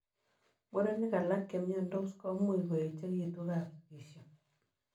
Murenik alak chemiandoos komuuch koechegituu kapsigisio.